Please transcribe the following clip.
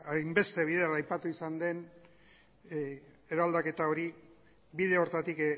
hainbeste bider aipatu izan den eraldaketa hori bide horretatik